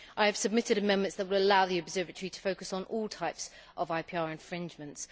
I have submitted amendments that will allow the Observatory to focus on all types of IPR infringements.